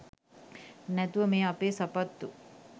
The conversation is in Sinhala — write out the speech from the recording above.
නැතුව මේ අපේ සපත්තු